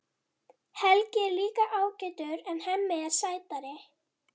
Helgi er líka ágætur en Hemmi er sætari.